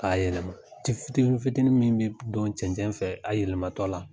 K'a yɛlɛma fitini fitini min bɛ don cɛncɛn fɛ a yɛlɛmatɔ la.